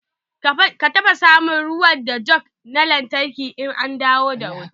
Ka tafasa mun ruwa da jug na lantarki in an dawo da wuta.